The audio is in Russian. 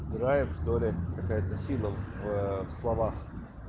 драйв что ли какая-то сила в словах